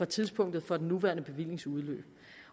tidspunktet for den nuværende bevillings udløb